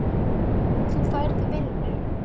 Þú færð vinnu.